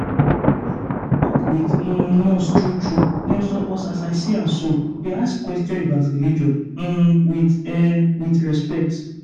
ah doc with um nurse true true dem suppose as i see am so dey ask questions about religion um with um with respect.